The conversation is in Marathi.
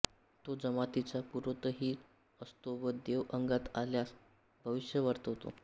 तो जमातीचा पुरोहितही असतो व देव अंगात आल्यास भविष्य वर्तवितो